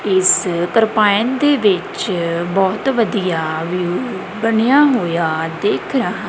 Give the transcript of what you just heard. ਇਸ ਤੁਰਪਾਈਨ ਦੇ ਵਿੱਚ ਬਹੁਤ ਵਧੀਆ ਵਿਊ ਬਣਿਆ ਹੋਇਆ ਦਿੱਖ ਰਹਾ--